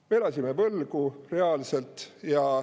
Me elasime reaalselt võlgu.